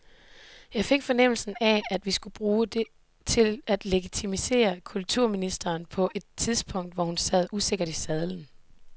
Jeg fik fornemmelsen af, at vi skulle bruges til at legitimere kulturministeren på et tidspunkt, hvor hun sad usikkert i sadlen.